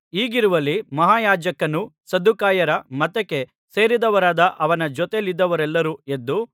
ಹೀಗಿರುವಲ್ಲಿ ಮಹಾಯಾಜಕನೂ ಸದ್ದುಕಾಯರ ಮತಕ್ಕೆ ಸೇರಿದವರಾದ ಅವನ ಜೊತೆಯಲ್ಲಿದ್ದವರೆಲ್ಲರೂ ಎದ್ದು